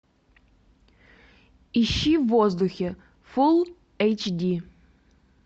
ищи в воздухе фул эйч ди